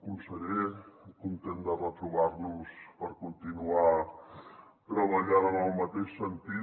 conseller content de retrobar nos per continuar treballant en el mateix sentit